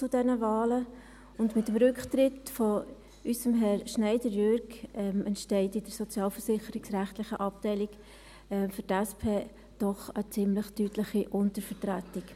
Mit dem Rücktritt unseres Herrn Scheidegger Jürg entsteht in der sozialversicherungsrechtlichen Abteilung für die SP doch eine ziemlich deutliche Untervertretung.